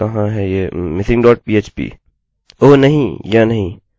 तो चलिए एक नज़र डालते हैं उम कहाँ है ये missing dot php